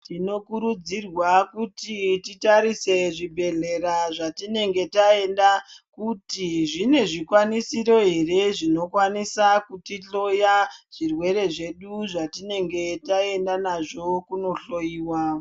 Tinokurudzirwa kuti titarise zvibhedhlera zvatinenge taenda kuti zvine zvikwanisiro ere zvinokwanisa kutihloya zvirwere zvedu zvatinenge taenda nazvo kunohloiwa.